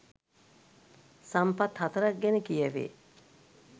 සම්පත් 04 ක් ගැන කියැවේ.